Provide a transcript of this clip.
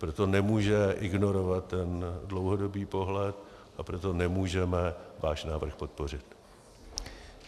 Proto nemůže ignorovat ten dlouhodobý pohled a proto nemůžeme váš návrh podpořit.